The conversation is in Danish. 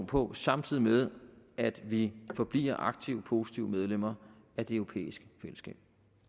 på samtidig med at vi forbliver aktive positive medlemmer af det europæiske fællesskab